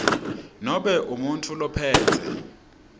nobe umuntfu lophetse